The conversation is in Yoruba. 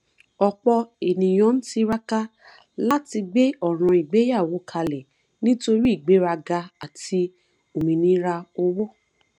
ọpọ ènìyàn ń tiraka láti gbé ọràn ìgbéyàwó kalẹ nítorí ìgbéraga àti òmìnira owó